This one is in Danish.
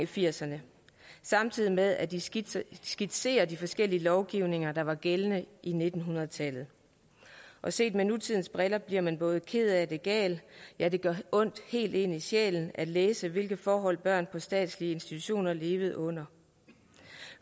firserne samtidig med at den skitserer skitserer de forskellige lovgivninger der var gældende i nitten hundrede tallet og set med nutidens briller bliver man både ked af det og gal ja det gør ondt helt ind i sjælen at læse hvilke forhold børn på statslige institutioner levede under